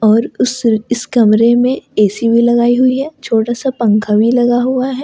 और उस इस कमरे में ए_सी भी लगाई हुई है छोटा सा पंखा भी लगा हुआ है ।